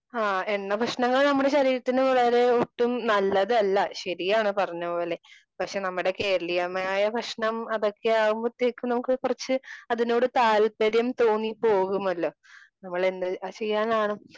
ആ എണ്ണ ഭക്ഷണങ്ങൾ നമ്മുടെ ശരീരത്തിന് വളരെ ഒട്ടും നല്ലതല്ല. ശരിയാണ് പറഞ്ഞ പോലെ പക്ഷേ നമ്മളെ കേരളീയമായ ഭക്ഷണം അതൊക്കെ ആവുമ്പോഴാതെക്ക് നമുക്ക് കുറച്ച് അതിനോട് താല്പര്യം തോന്നി പോകുമല്ലോ? നമ്മൾ എന്തു ചെയ്യാനാണ്.